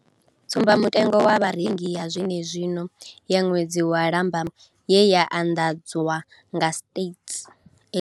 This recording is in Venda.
Tsumba mutengo wa Vharengi ya zwenezwino ya ṅwedzi wa Lambamai ye ya anḓadzwa nga Stats.